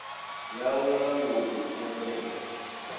yawe ya lounu ḽoan tshelede